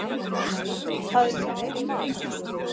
Það er mitt mat.